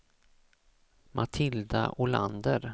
Matilda Olander